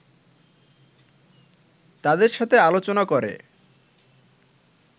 তাদের সাথে আলোচনা করে